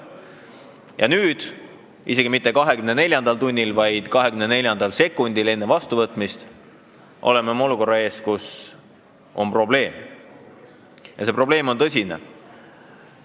Ja nüüd, isegi mitte 12. tunnil, vaid 12. sekundil enne vastuvõtmist, oleme me olukorra ees, kus on probleem ja see probleem on tõsine.